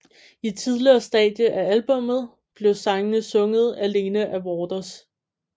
I et tidligere stadie af albummet blev sangen sunget alene af Waters